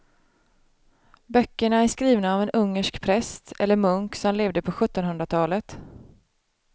Böckerna är skrivna av en ungersk präst eller munk som levde på sjuttonhundratalet.